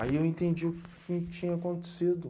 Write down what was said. Aí eu entendi o que que tinha acontecido.